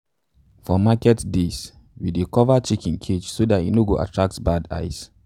for market days days we dey cover chicken cages so dat e no attract bad eyes.